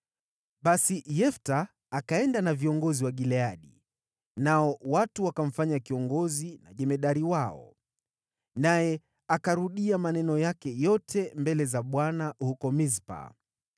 Basi Yefta akaenda na viongozi wa Gileadi, nao watu wakamfanya kiongozi na jemadari wao. Naye akarudia maneno yake yote mbele za Bwana huko Mispa.